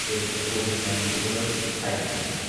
In a COVID nineteen world ꯍꯥꯏꯕꯁꯤꯅꯤ ꯫